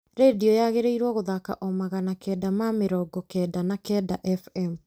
rĩndiũ yagĩrĩirwo gũthaka o magana kenda ma mĩrongo kenda na kenda f.m.